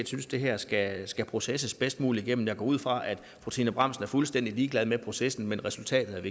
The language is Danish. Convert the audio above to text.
synes det her skal skal processeres bedst muligt igennem jeg går ud fra at fru trine bramsen er fuldstændig ligeglad med processen men resultatet